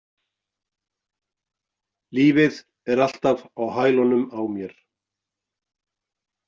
Lífið er alltaf á hælunum á mér.